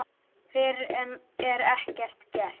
Fyrr er ekkert gert.